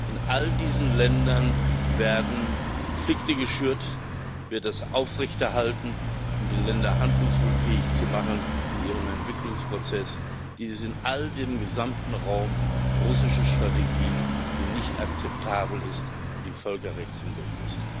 In all diesen Ländern werden Konflikte geschürt, wird das aufrechterhalten, um die Länder handlungsunfähig zu machen in ihrem Entwicklungsprozess. Dies ist im gesamten Raum russische Strategie, die nicht akzeptabel ist und die völkerrechtswidrig ist.